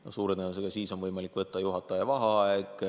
No suure tõenäosusega siis on võimalik võtta juhataja vaheaeg.